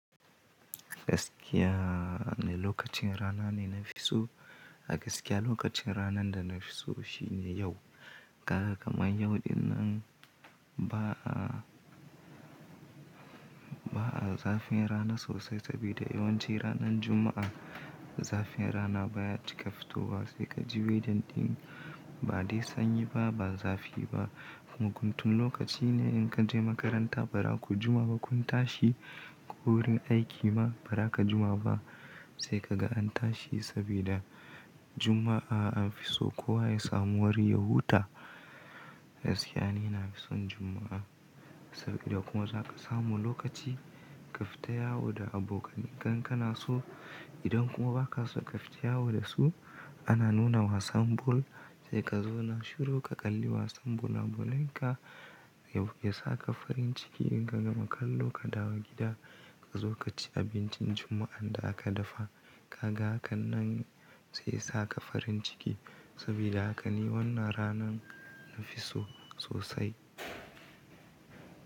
Gaskiya ne lokacin rana ne na fi so. A gaskiya lokacin ranan da na fi so shi ne yau. Kaga kaman yau dinnan ba a ba a zafin rana sosai sabida yawanci ranan Juma'a zafin rana baya cika fitowa se ka ji wejedin ba de sanyi ba, ba zafi ba. Muguntun lokaci ne in ka je makaranta ba raku Jumavba kun tashi ko wurin aiki ma ba raka Jumaba se ka ga an tashi sabida Juma'a an fi so kowa ya samu wari ya huta. Gaskiya ni na fi son Juma'a saboda kuma za ka samu lokaci ka fita yawo da abokanan ka in kanaso. Idan kuma ba ka so ka fita yawo da su ana nuna wasan bol sai ka zouna shiru ka kalli wasan bola bolenka ya sa ka farin ciki in ka gama kallo ka dawo gida ka zo ka ci abincin Juma'an da aka dafa. Kaga hakan nan sai sa ka farin ciki sabida haka ni wannan rana na fi so sosai.